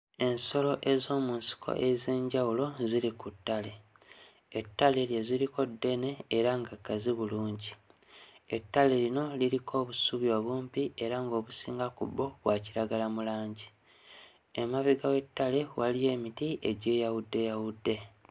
Ensolo ez'omu nsiko ez'enjawulo ziri ku ttale, ettale lye ziriko ddene era nga gazzi bulungi, ettale lino liriko obusubi obumpi era ng'obusinga ku bwo bwa kiragala mu langi, emabega w'ettale waliyo emiti egyeyawuddeyawudde.